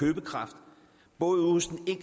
og